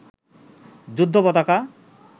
যুদ্ধ পতাকা